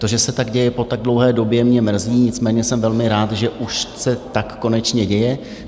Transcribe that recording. To, že se tak děje po tak dlouhé době, mě mrzí, nicméně jsem velmi rád, že už se tak konečně děje.